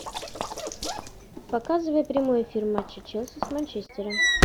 показывай прямой эфир матча челси с манчестером